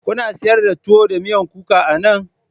Kuna sayar da tuwo da miyan kuka anan?